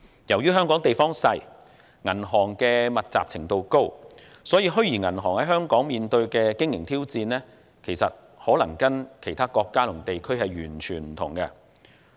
由於香港地方小，銀行密集程度高，所以，虛擬銀行在香港面對的經營挑戰與其他國家和地區完全不同。